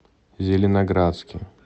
зеленоградске